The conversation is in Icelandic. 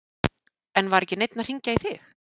En var ekki neinn að hringja í þig?